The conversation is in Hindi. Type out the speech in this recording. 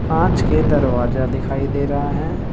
कांच के दरवाजा दिखाई दे रहा है।